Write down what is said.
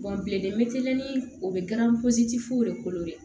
bilen mɛ ni o bɛ garɔti foyi de kolo dɛ